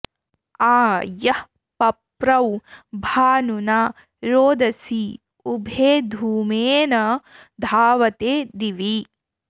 आ यः प॒प्रौ भा॒नुना॒ रोद॑सी उ॒भे धू॒मेन॑ धावते दि॒वि